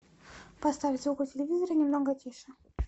поставь звук у телевизора немного тише